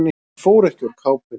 Hún fór ekki úr kápunni.